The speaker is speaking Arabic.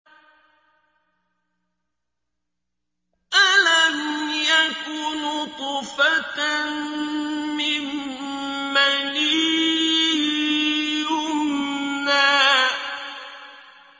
أَلَمْ يَكُ نُطْفَةً مِّن مَّنِيٍّ يُمْنَىٰ